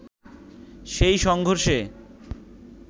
সেই সংঘর্ষে